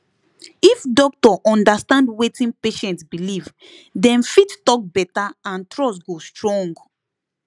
if doctor understand wetin patient believe dem fit talk better and trust go strong